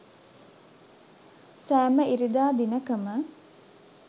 සෑම ඉරිදා දිනකම